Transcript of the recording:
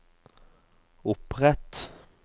opprett